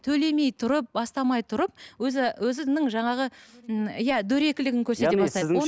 төлемей тұрып бастамай тұрып өзінің жаңағы ы иә дөрекілігін көрсете бастайды